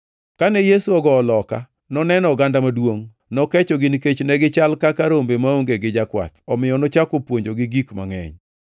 Kane Yesu ogowo loka, noneno oganda maduongʼ, nokechogi nikech ne gichal kaka rombe maonge gi jakwath. Omiyo nochako puonjogi gik mangʼeny.